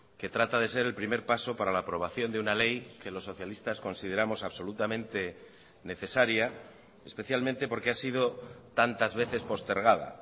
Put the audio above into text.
que trata de ser el primer paso para la aprobación de una ley que los socialistas consideramos absolutamente necesaria especialmente porque ha sido tantas veces postergada